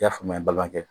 I y'a faamuya balimakɛ